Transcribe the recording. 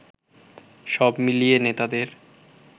সব মিলিয়ে নেতাদের